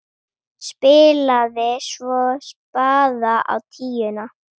Spilaði svo spaða á tíuna!